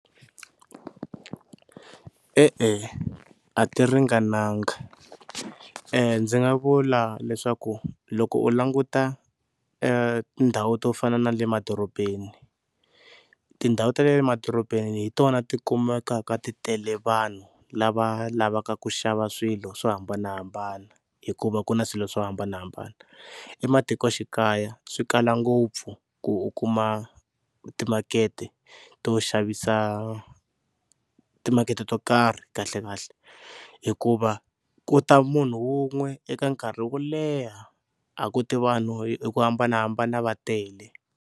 E-e a ti ringananga, ndzi nga vula leswaku loko u languta tindhawu to fana na le madorobeni tindhawu ta le emadorobeni hi tona ti kumekaka titele vanhu lava lavaka ku xava swilo swo hambanahambana hikuva ku na swilo swo hambanahambana. Ematikoxikaya swi kala ngopfu ku u kuma timakete to xavisa, timakete to karhi kahlekahle hikuva ku ta munhu wun'we eka nkarhi wo leha a ku ti vanhu hi ku hambanahambana va tele.